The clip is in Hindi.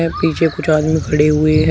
पीछे कुछ लोग खड़े हुए है।